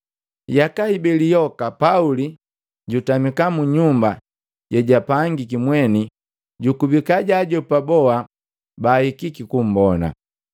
Yaka hibeli yoka Pauli jutamika mu mnyumba jejapangiki mweni jukubika jaajopa boa bahikiki kumbona.